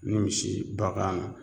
Ni misi banna